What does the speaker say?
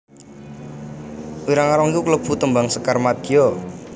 Wirangrong iku kalebu tembang sekar madya